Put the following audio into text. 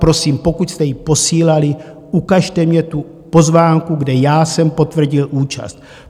Prosím, pokud jste ji posílali, ukažte mně tu pozvánku, kde já jsem potvrdil účast.